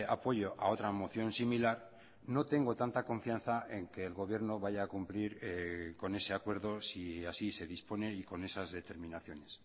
apoyo a otra moción similar no tengo tanta confianza en que el gobierno vaya a cumplir con ese acuerdo si así se dispone y con esas determinaciones